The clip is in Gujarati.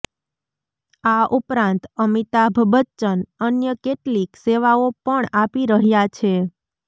આ ઉપરાંત અમિતાભ બચ્ચન અન્ય કેટલીક સેવાઓ પણ આપી રહ્યા છે